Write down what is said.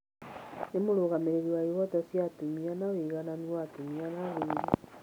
Nĩ mũrũgamĩrĩri wa ihoto cia atumia na ũigananu wa atumia na athuri..